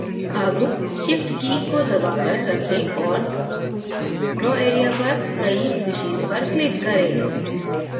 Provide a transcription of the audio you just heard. अब shift की key को दबाकर रखें और draw area पर कई species पर click करें